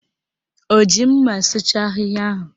O ji mma sụcha ahịhịa ahụ?